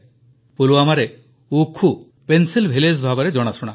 ପୁଲୱାମାରେ ଉଖୁ pencil village ଭାବେ ଜଣାଶୁଣା